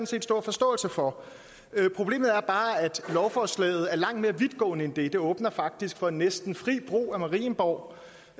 set stor forståelse for problemet er bare at lovforslaget er langt mere vidtgående end det det åbner faktisk for næsten fri brug af marienborg